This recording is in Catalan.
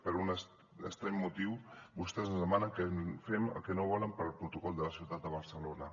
per un estrany motiu vostès ens demanen que fem allò que no volen per al protocol de la ciutat de barcelona